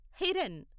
Hiran